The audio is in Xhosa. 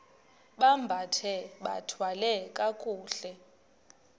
bambathe bathwale kakuhle